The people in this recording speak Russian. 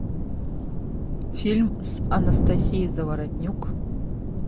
фильм с анастасией заворотнюк